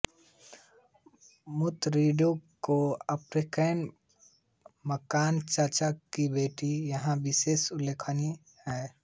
मूत्तिरिंङोट का आप्फन्रे मकन चाचा की बेटी यहाँ विशेष उल्लेखनीय है